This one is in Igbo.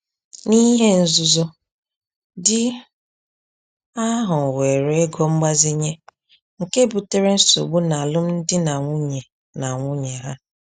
N’ihe nzuzo, di ahụ weere ego mgbazinye, nke butere nsogbu n’alụmdi na nwunye na nwunye ha.